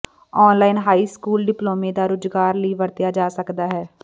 online high school ਡਿਪਲੋਮੇ ਦਾ ਰੁਜ਼ਗਾਰ ਲਈ ਵਰਤਿਆ ਜਾ ਸਕਦਾ ਹੈ